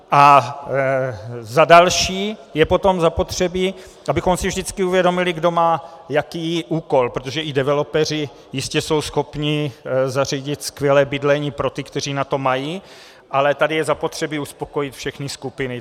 A za další, je potom zapotřebí, abychom si vždycky uvědomili, kdo má jaký úkol, protože i developeři jistě jsou schopni zařídit skvělé bydlení pro ty, kteří na to mají, ale tady je zapotřebí uspokojit všechny skupiny.